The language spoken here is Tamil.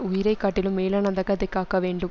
உயிரை காட்டிலும் மேலானதாக அதை காக்க வேண்டும்